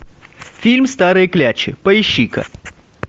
фильм старые клячи поищи ка